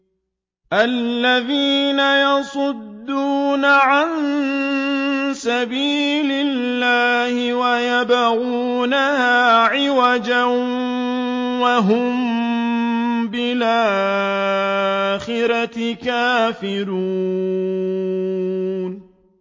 الَّذِينَ يَصُدُّونَ عَن سَبِيلِ اللَّهِ وَيَبْغُونَهَا عِوَجًا وَهُم بِالْآخِرَةِ كَافِرُونَ